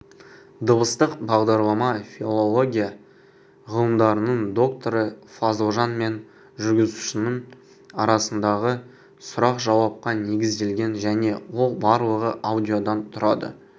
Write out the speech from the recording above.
дыбыстық бағдарлама филология ғылымдарының докторы фазылжан мен жүргізушінің арасындағы сұрақ-жауапқа негізделген және ол барлығы аудиодан тұрады